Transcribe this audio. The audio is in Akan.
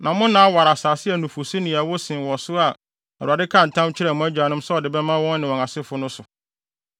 na mo nna aware asase a nufusu ne ɛwo sen wɔ so a Awurade kaa ntam kyerɛɛ mo agyanom sɛ ɔde bɛma wɔn ne wɔn asefo no so.